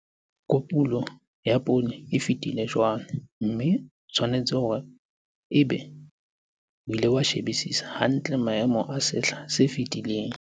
Kopulo ya poone e fetile jwale, mme o tshwanetse hore ebe o ile wa shebisisa hantle maemo a sehla se fetileng.